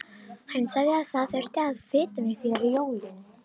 Hann sagði að það þyrfti að fita mig fyrir jólin.